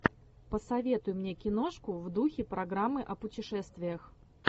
посоветуй мне киношку в духе программы о путешествиях